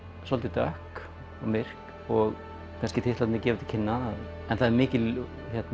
svolítið dökk og myrk og kannski titlarnir gefa til kynna en það er mikil